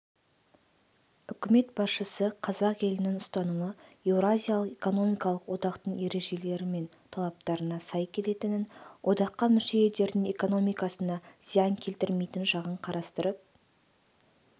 үкімет басшысы қазақ елінің ұстанымы еуразиялық экономикалық одақтың ережелері мен талаптарына сай келетінін одаққа мүше елдердің экономикасына зиян келтірмейтін жағын қарастырып